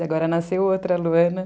E agora nasceu outra, a Luana.